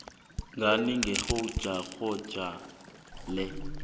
ngani ngephrojekthakho le